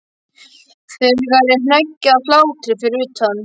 Það er hneggjað af hlátri fyrir utan.